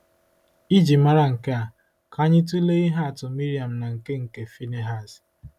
Iji mara nke a, ka anyị tụlee ihe atụ Miriam na nke nke Phinehas.